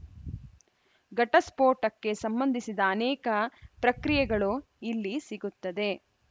ಘಟಸ್ಫೋಟಕ್ಕೆ ಸಂಬಂಧಿಸಿದ ಅನೇಕ ಪ್ರಕ್ರಿಯೆಗಳು ಇಲ್ಲಿ ಸಿಗುತ್ತದೆ